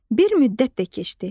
Bir müddət də keçdi.